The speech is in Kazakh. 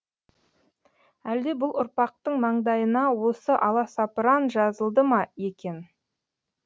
әлде бұл ұрпақтың маңдайына осы аласапыран жазылды ма екен